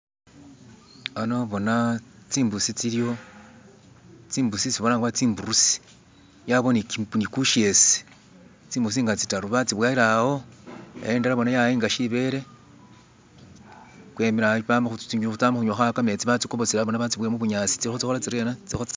ano bona tsimbusi tsiliwo tsimbusi isi balanga bari tsimburusi yabawo ni kushese tsimbusi ngatsitalu batsiboyele awo bona indwela yayinga shibele wemile awo tsimbusi tsi tsama hunywa kametsi batsi kobosele batsi boyele hubunyasi